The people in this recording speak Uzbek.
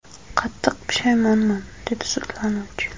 Qattiq pushaymonman”, dedi sudlanuvchi.